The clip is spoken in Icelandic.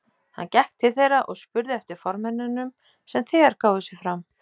Hann gekk til þeirra og spurði eftir formönnunum sem þegar gáfu sig fram.